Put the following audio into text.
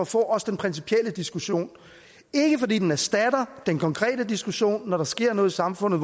få den principielle diskussion ikke fordi den erstatter den konkrete diskussion når der sker noget i samfundet